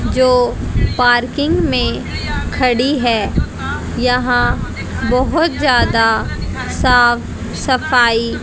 जो पार्किंग में खड़ी है यहां बहोत ज्यादा साफ सफाई--